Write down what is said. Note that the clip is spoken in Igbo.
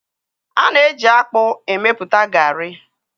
A na-eji ji akpu emepụta garị